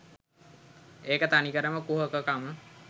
ඒක තනිකරම කුහක කම